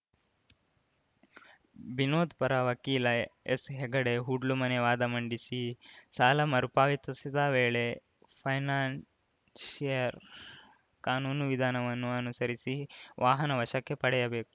ಬಿನೋದ್‌ ಪರ ವಕೀಲ ಎಸ್‌ಹೆಗಡೆ ಹೂಡ್ಲುಮನೆ ವಾದ ಮಂಡಿಸಿ ಸಾಲ ಮರುಪಾವತಿಸದ ವೇಳೆ ಫೈನಾನ್ಷಿಯರ್‌ ಕಾನೂನು ವಿಧಾನವನ್ನು ಅನುಸರಿಸಿ ವಾಹನ ವಶಕ್ಕೆ ಪಡೆಯಬೇಕು